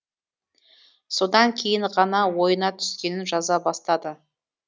содан кейін ғана ойына түскенін жаза бастады